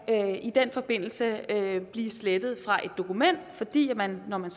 i den forbindelse kan blive slettet fra et dokument fordi man når man